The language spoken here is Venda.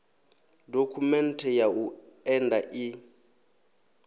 dokhumenthe ya u enda i